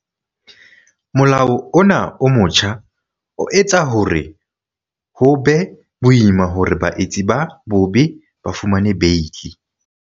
Molao ona o motjha o etsa hore ho be boima hore baetsi ba bobe ba fumane beili.